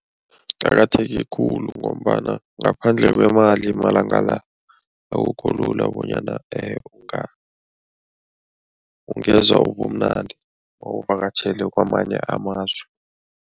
Kuqakatheke khulu ngombana ngaphandle kwemali malanga la, akukho lula bonyana ungezwa ubumnandi nawuvakatjhele kwamanye amazwe.